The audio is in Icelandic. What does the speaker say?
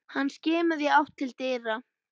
Hann skimaði í átt til dyra.